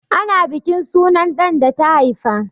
Ana bukin sunan ɗan da ta haifa.